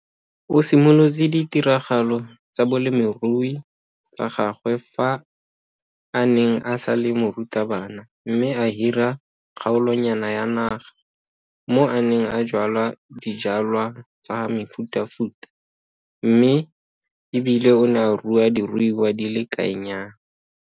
O simolotse ditiragalo tsa bolemirui tsa gagwe fa a neng a sa le morutabana mme a hira kgaolonyana ya naga mo a neng a jwala dijwalwa tsa mefutafuta mme e bile o ne a rua diruiwa di le kaenyana.